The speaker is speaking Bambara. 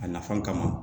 A nafan kama